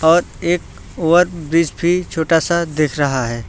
और एक over bridge भी छोटा सा दिख रहा है।